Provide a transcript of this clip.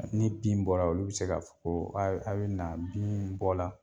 Ni bin bɔra olu bi se ka fɔ ko a bi na, bin bɔ la.